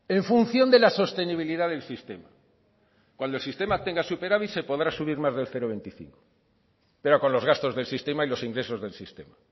en función de la sostenibilidad del sistema cuando el sistema tenga superávit se podrá subir más del cero coma veinticinco pero con los gastos del sistema y los ingresos del sistema